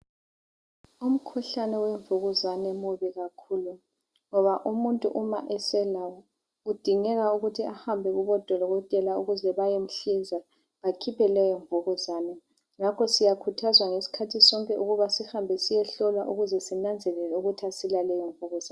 Umkhuhlane we Mvukuzane mubi kakhulu, ngoba umuntu uma eselayo kudingeka ukuthi ahambe kubo Dokotela ukuze bayemhlinza bakhophe leyo Mvukuzane, ngakho siyakhuthazwa ngesikhathi sonke ukubana siyehlolwa ukuze sinanzelele ukuthi asila leyi Mvukuzane.